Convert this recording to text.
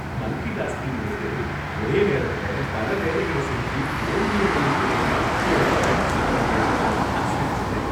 Multi டாஸ்கிங்கிறது ஒரே நேரத்தில் பல வேலைகளை செஞ்சி தோல்வியடையும் திறன்னு என்னோட ஃப்ரெண்ட் சொன்னத கேட்டதும் நான் சிரிச்சிட்டேன்.